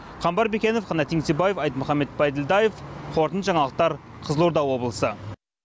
қамбар бекенов қанат еңсебаев айтмұхамбет бәйділдаев қорытынды жаңалықтар қызылорда облысы